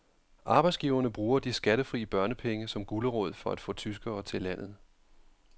Arbejdsgiverne bruger de skattefri børnepenge som gulerod for at få tyskere til landet.